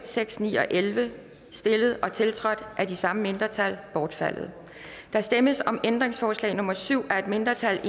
seks ni og elleve stillet og tiltrådt af de samme mindretal bortfaldet der stemmes om ændringsforslag nummer syv af et mindretal